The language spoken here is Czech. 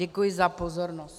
Děkuji za pozornost.